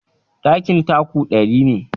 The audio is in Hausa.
Ɗakin taku ɗari ne.